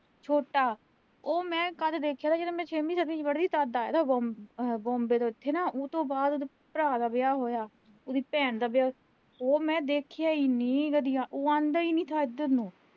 ਉਹ ਮੈਂ ਕਦ ਦੇਖਿਆ ਨਾ, ਜਦੋਂ ਮੈਂ ਛੇਵੀਂ ਸੱਤਵੀਂ ਚ ਪੜ੍ਹਦੀ ਸੀ ਨਾ, ਤਦ ਉਥੇ ਨਾ, ਉਹਤੋਂ ਬਾਅਦ ਭਰਾ ਦਾ ਵਿਆਹ ਹੋਇਆ, ਇਹਦੀ ਭੈਣ ਦਾ ਵਿਆਹ, ਉਹ ਮੈਂ ਦੇਖਿਆ ਇਨੀ ਵਧੀਆ, ਉਹ ਆਂਦਾ ਈ ਨੀਂ ਥਾ ਇਧਰ ਨੂੰ